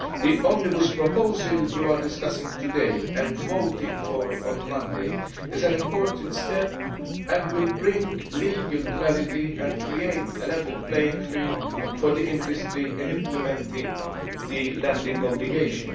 The omnibus proposal you are discussing today, and voting for on Monday, is an important step and will bring legal clarity and create a level playing field for the industry in implementing the landing obligation.